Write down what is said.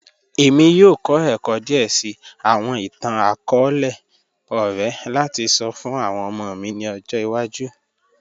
ẹ̀mí yọọ̀ kọ̀ ẹ̀kọ́ díè síì awọn ìtàn-akọọlẹ̀ ọ̀rẹ̀ lati sọ̀ fun awọn ọmọ mi ni ọ̀jọ́ iwaju